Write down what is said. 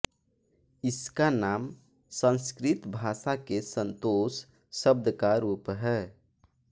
इसका नाम संस्कृत भाषा के संतोष शब्द का रूप है